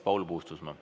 Paul Puustusmaa.